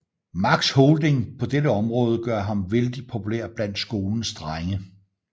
Max holding på dette område gør ham vældig populær blandt skolens drenge